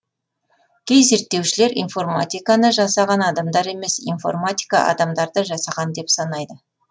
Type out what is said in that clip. кей зерттеушілер информатиканы жасаған адамдар емес информатика адамдарды жасаған деп санайды